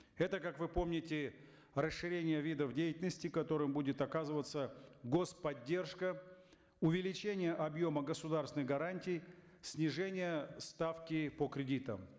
это как вы помните расширение видов деятельности которым будет оказываться гос поддержка увеличение объема государственной гарантии снижение ставки по кредитам